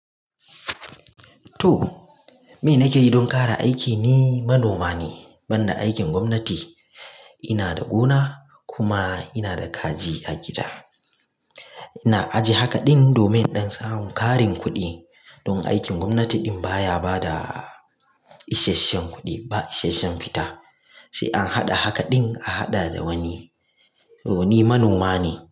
To, me nake yi don ƙara aiki ni manoma ne, ban da aikin gwamnati. Ina da gona kuma ina da kaji a gida. Ina ajiye haka ɗin domin in ɗan samun ƙarin kuɗi don aikin gwamnati baya ba da isasshen kuɗi ba isasshen fita, sai an haɗa haka ɗin a haɗa da wani. To ni manoma ne.